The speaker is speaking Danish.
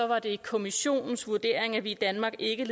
var det kommissionens vurdering at vi i danmark ikke